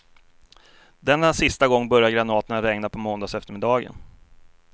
Denna sista gång började granaterna regna på måndagseftermiddagen.